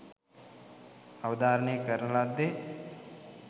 අවධාරණය කරන ලද්දේ